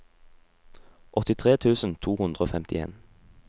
åttitre tusen to hundre og femtien